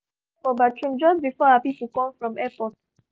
the pipe burst for bathroom just before our people come from airport